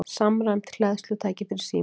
Samræmd hleðslutæki fyrir síma